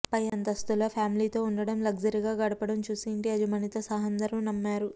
పై అంతస్తులో ఫ్యామి లీతో ఉండడం లగ్జరీగా గడపడం చూసి ఇంటి యాజమానితో సహా అందరూ నమ్మారు